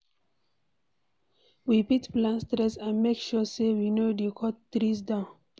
We fit plant tress and make sure sey we no dey cut tree down